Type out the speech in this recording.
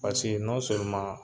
Paseke